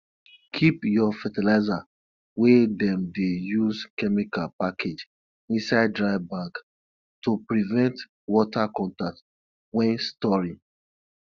keep your fertilizer wey dem dey use chemical package inside dry bag to prevent water contact when storing